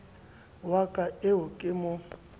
wa ka eo ke mo